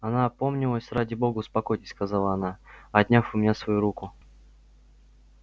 она опомнилась ради бога успокойтесь сказала она отняв у меня свою руку